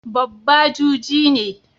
Babba juji ne.